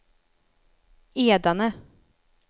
Edane